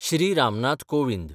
Shri Ram Nath Kovind